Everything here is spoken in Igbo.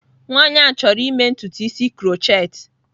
Nwaanyị ahụ chọrọ ịme ntutu isi krotchetị.